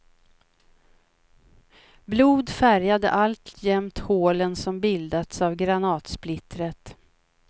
Blod färgade alltjämt hålen som bildats av granatsplittret.